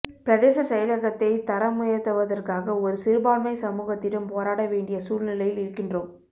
பிரதேச செயலகத்தைத் தரமுயர்த்தவதற்காக ஒரு சிறுபான்மை சமுகத்திடம் போராட வேண்டிய சூழ்நிலையில் இருக்கின்றோம்